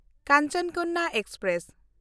Kanchan Kanya express